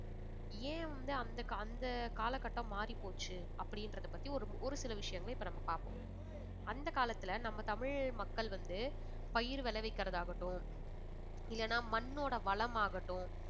ஏன் வந்து அந்த அந்த காலகட்டம் மாறி போச்சு அப்படின்றத பத்தி ஒரு ஒரு சில விஷயங்களை இப்ப நம்ம பாப்போம். அந்த காலத்துல நம்ம தமிழ் மக்கள் வந்து பயிர் விளைவிக்கறதாகட்டும் இல்லனா மண்ணோட வளம் ஆகட்டும்